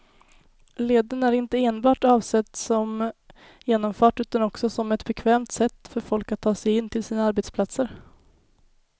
Leden är inte enbart avsedd som genomfart utan också som ett bekvämt sätt för folk att ta sig in till sina arbetsplatser.